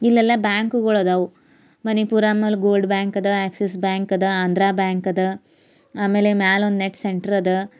ಇಲ್ಲೆಲ್ಲ ಬ್ಯಾಂಕುಗಳು ಅದಾವು ಮನಪ್ಪುರಾಮ್ ಗೋಲ್ಡ್ ಬ್ಯಾಂಕ್ ಅದ ಆಕ್ಸಿಸ್ ಬ್ಯಾಂಕ್ ಅದ ಆಂಧ್ರ ಬ್ಯಾಂಕ್ ಆಮೇಲ ಒಂದ್ ನೆಟ್ ಸೆಂಟರ್ ಅದ.